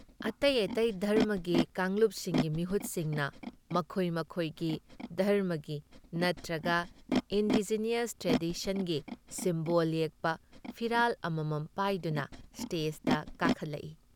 ꯑꯇꯩ ꯑꯇꯩ ꯙꯔꯝꯃꯒꯤ ꯀꯥꯡꯂꯨꯞꯁꯤꯡꯒꯤ ꯃꯤꯍꯨꯠꯁꯤꯡꯅ ꯃꯈꯣꯏ ꯃꯈꯣꯏꯒꯤ ꯙꯔꯝꯃꯒꯤ ꯅꯇ꯭ꯔꯒ ꯏꯟꯗꯤꯖꯤꯅꯁ ꯇ꯭ꯔꯦꯗꯤꯁꯟꯒꯤ ꯁꯤꯝꯕꯣꯜ ꯌꯦꯛꯄ ꯐꯤꯔꯥꯜ ꯑꯃꯃꯝ ꯄꯥꯏꯗꯨꯅ ꯁ꯭ꯇꯦꯖꯗ ꯀꯥꯈꯠꯂꯛꯏ ꯫